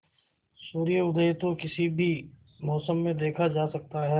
सूर्योदय तो किसी भी मौसम में देखा जा सकता है